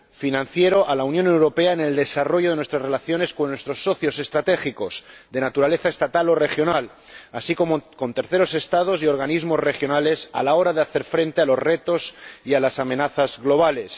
financiero a la Unión Europea en el desarrollo de nuestras relaciones con nuestros socios estratégicos, de naturaleza estatal o regional, así como con terceros Estados y organismos regionales, a la hora de hacer frente a los retos y a las amenazas globales.